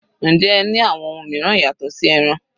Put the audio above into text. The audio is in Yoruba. Njẹ́ ẹ ní àwọn ohun mìíràn yàtọ̀ sí ẹran?